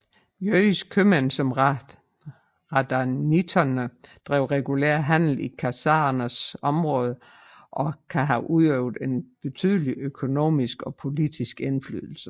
Jødiske købmænd som Radhanitene drev regulær handel i khazarernes områder og kan have udøvet en betydelig økonomisk og politisk indflydelse